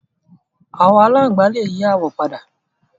Àwọn aláǹgbá lè yí àwọ̀ padà